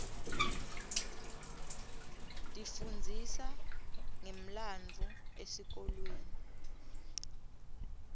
tifundzisa ngemlandvo esikolweni